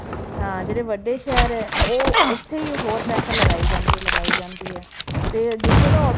ਹਾਂ ਜਿਹੜੇ ਵੱਡੇ ਸ਼ਹਿਰ ਹੈ ਉਹ ਉੱਥੇ ਹੀ ਹੋਰ ਪੈਸਾ ਲਗਾਈ ਜਾਂਦੀ ਹੈ ਲਗਾਈ ਜਾਂਦੀ ਹੈ, ਤੇ ਜਿੱਥੇ ਤਾਂ